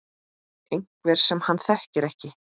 Einhver sem hann þekkir ekki.